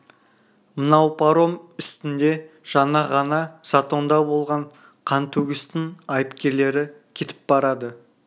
мынау паром үстінде жаңа ғана затонда болған қантөгістің айыпкерлері кетіп барады